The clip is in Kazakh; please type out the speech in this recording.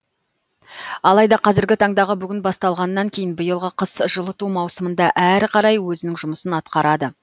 алайда қазіргі таңдағы бүгін басталғаннан кейін биылғы қыс жылыту маусымында әрі қарай өзінің жұмысын атқарады